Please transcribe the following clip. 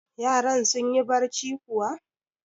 Yaran sun yi barci kuwa?